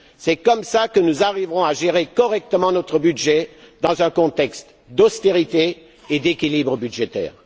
C'est comme cela que nous arriverons à gérer correctement notre budget dans un contexte d'austérité et d'équilibre budgétaire.